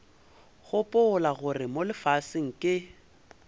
gopola gore mo lefaseng ke